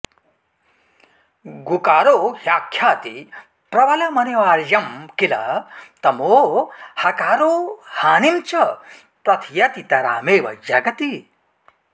गुकारो ह्याख्याति प्रबलमनिवार्यं किल तमो हकारो हानिं च प्रथयतितरामेव जगति